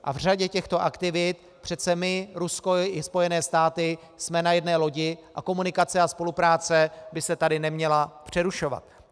A v řadě těchto aktivit přece my, Rusko i Spojené státy jsme na jedné lodi a komunikace a spolupráce by se tady neměla přerušovat.